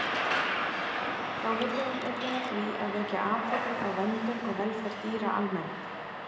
Þá vinnur hún einnig að því að vekja athygli á verndun og velferð dýra almennt.